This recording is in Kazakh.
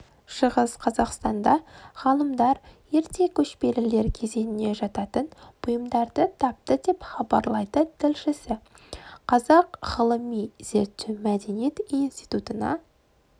шығыс қазақстанда ғалымдар ерте көшпелілер кезеңіне жататын бұйымдарды тапты деп хабарлайды тілшісі қазақ ғылыми-зерттеу мәдениет институтына